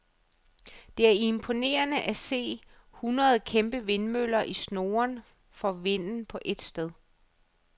Det er imponerende at se et hundrede kæmpe vindmøller i snurren for vinden på et sted.